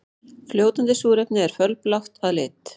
Fljótandi súrefni er fölblátt að lit.